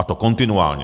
A to kontinuálně.